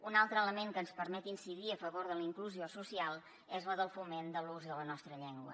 un altre element que ens permet incidir a favor de la inclusió social és el del foment de l’ús de la nostra llengua